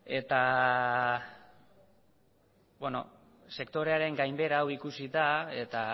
sektorearen gainbehera hau ikusita eta